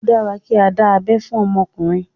Ó dára kí á dá abé fún ọmọkùnrin.